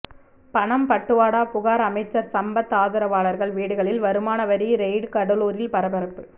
பணம் பட்டுவாடா புகார் அமைச்சர் சம்பத் ஆதரவாளர்கள் வீடுகளில் வருமான வரி ரெய்டு கடலூரில் பரபரப்பு